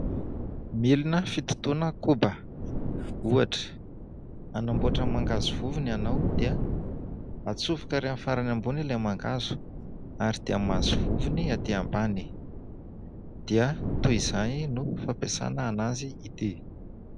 Milina fitotoana koba. Ohatra : anamboatra mangahazo vovony ianao dia atsofoka ary amin'ny farany ambony ilay mangahazo, ary dia mahazo vovony aty ambany. Dia toy izay no fampiasana an'azy ity.